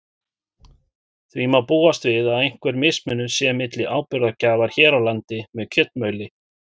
Því má búast við að einhver mismunur sé milli áburðargjafar hér á landi með kjötmjöli.